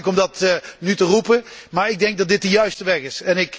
Het is heel makkelijk om dat nu te roepen, maar ik denk dat dit de juiste weg is.